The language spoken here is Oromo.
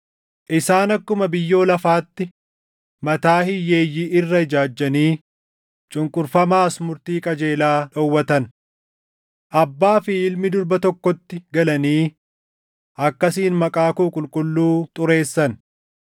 Isaan akkuma biyyoo lafaatti mataa hiyyeeyyii irra ijaajjanii cunqurfamaas murtii qajeelaa dhowwatan. Abbaa fi ilmi durba tokkotti galanii akkasiin maqaa koo qulqulluu xureessan.